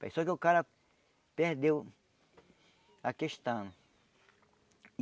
Só que o cara perdeu a questão.